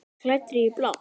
Klæddri í blátt.